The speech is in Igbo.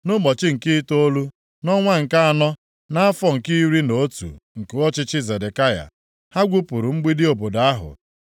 Nʼụbọchị nke itoolu, nʼọnwa nke anọ, nʼafọ nke iri na otu nke ọchịchị Zedekaya, ha gwupuru mgbidi obodo ahụ.